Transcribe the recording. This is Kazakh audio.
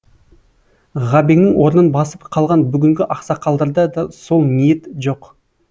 ғабеңнің орнын басып қалған бүгінгі ақсақалдарда да сол ниет жоқ